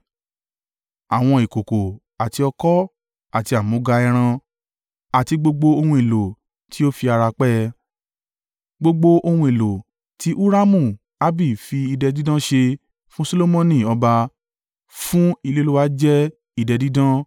àwọn ìkòkò àti ọ̀kọ̀ àti àmúga ẹran àti gbogbo ohun èlò tí ó fi ara pẹ́ ẹ. Gbogbo ohun èlò ti Huramu-Abi fi idẹ dídán ṣe fún Solomoni ọba, fún ilé Olúwa jẹ́ idẹ dídán.